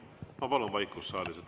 Ma palun vaikust saalis.